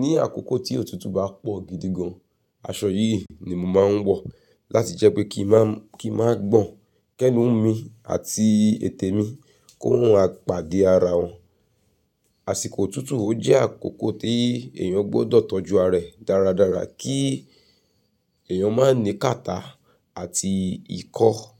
ní àkókò tí òtútù bá pọ̀ gidi gan, aṣọ yìí ni mo màá ń wọ̀ láti jẹ́ pé kí i máa gbọ̀n, kẹ́nu mi àti ètè mi kó ma maa pàdé ara wọn. Àsìkò òtútù ojẹ́ àkókò tí èèyàn gbọ́dọ̀ tọ́jú ara rẹ̀ dáradára kí èèyàn má ní kàtà àti ikọ́.